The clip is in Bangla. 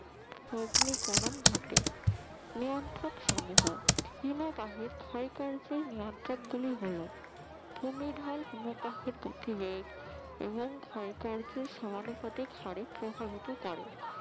অগ্নিকরণ ঘটে নিয়ন্ত্রক সমূহ হিমবাহের ক্ষয় কার্যের নিয়ন্ত্রক গুলি হল ভূমির ঢল হিমবাহের গতিবেগ এবং ক্ষয় কার্য এরসমানুপাতিক হারে প্রভাবিত করে